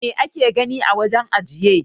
Mai ake gani a wajen ajiye?